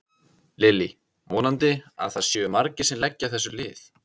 Lillý: Vonandi að það séu margir sem leggja þessu lið?